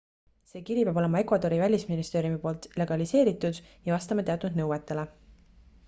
see kiri peab olema ecuadori välisministeeriumi poolt legaliseeritud ja vastama teatud nõuetele